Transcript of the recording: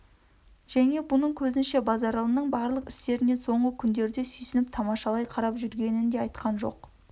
және бұның қезінше базаралының барлық ісіне соңғы күндерде сүйсініп тамашалай қарап жүргенін де айтқан жоқ